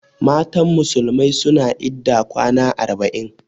Matan musulmai suna idda kwana arba'in.